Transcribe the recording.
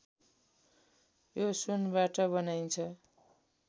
यो सुनबाट बनाइन्छ